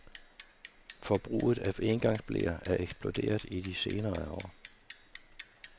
Forbruget af engangsbleer er eksploderet i de senere år.